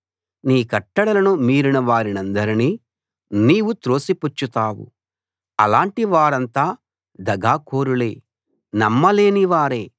నీ కట్టడలను మీరిన వారినందరినీ నీవు త్రోసిపుచ్చుతావు అలాటి వారంతా దగాకోరులే నమ్మలేని వారే